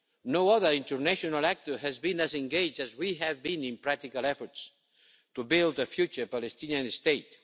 No other international actor has been as engaged as we have been in practical efforts to build a future Palestinian state.